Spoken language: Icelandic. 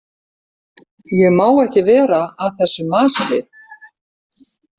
Ég má ekki vera að þessu masi.